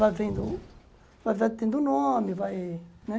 Vai vendo, vai vai tendo nome, vai, né.